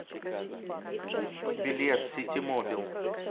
билет ситимобил